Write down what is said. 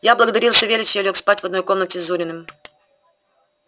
я благодарил савельича и лёг спать в одной комнате с зуриным